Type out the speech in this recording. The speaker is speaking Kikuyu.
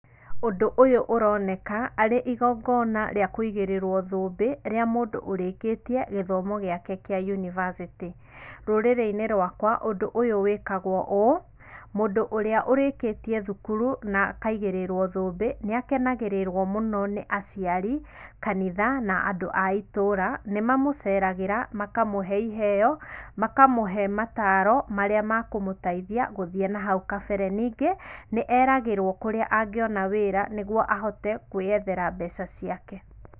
Ũndũ ũyũ ũroneka, arĩ igongona rĩa kũigĩrĩrwo thũmbĩ, rĩa mũndũ ũrĩkĩtie gĩthomo gĩake kĩa university. Rũrĩrĩ-inĩ rwakwa, ũndũ ũyũ wĩkagwo ũũ, mũndũ ũrĩa ũrĩkĩtie thukuru, na akaigĩrĩrwo thũmbĩ, nĩakenagĩrĩrwo mũno nĩ aciari, kanitha, na andũ a itũra, nĩ mamũceragĩra, makamũhe iheo, makamũhe mataaro marĩa makũmũteithia gũthiĩ nahau kabere. Ningĩ, nĩ eragĩrwo kũrĩa angĩona wĩra nĩguo ahote, kwĩethera mbea ciake.